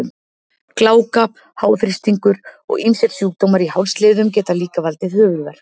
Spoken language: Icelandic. Gláka, háþrýstingur og ýmsir sjúkdómar í hálsliðum geta líka valdið höfuðverk.